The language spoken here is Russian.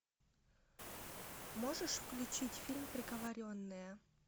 можешь включить фильм приговоренная